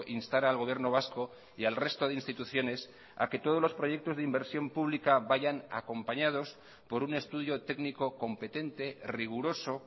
instara al gobierno vasco y al resto de instituciones a que todos los proyectos de inversión pública vayan acompañados por un estudio técnico competente riguroso